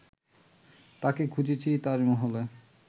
তাকে খুঁজেছি তাজমহলে